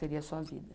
Seria a sua vida.